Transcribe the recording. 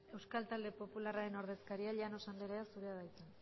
euskal talde popularraren ordezkaria llanos anderea zurea da hitza